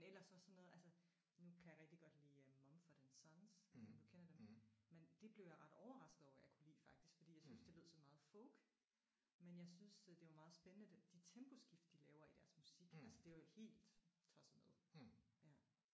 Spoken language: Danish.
Men ellers så sådan noget altså nu kan jeg rigtig godt lide Mumford & Sons jeg ved ikke om du kender dem? Men de blev jeg ret overrasket over at jeg kunne lide faktisk fordi jeg syntes det lød sådan meget folk men jeg syntes det var meget spændende de temposkift de laver i deres musik. Altså det er jeg jo helt tosset med